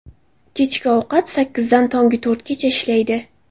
Kechki soat sakkizdan tongi to‘rtgacha ishlaydi.